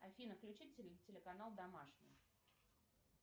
афина включи телеканал домашний